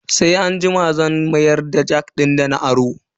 Sai anjima zan mayar da jak din dana aro.